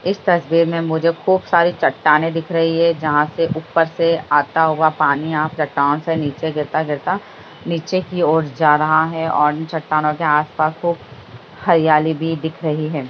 इस तस्‍वीर में मुझे खूब सारी चट्टानें दिख रही हैं जहां से ऊपर से आता हुआ पानी यहां चट्टानों से नीचे गिरता-गिरता नीचे की ओर जा रहा है और इन चट्टानों के आस-पास खूब हरियाली भी दिख रही है।